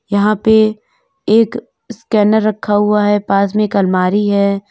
यहां पे एक स्कैनर रखा हुआ है पास में अलमारी है।